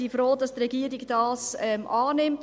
Wir sind froh, dass die Regierung dies annimmt.